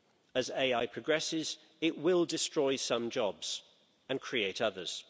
As AI progresses, it will destroy some jobs and create others.